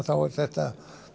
þá er þetta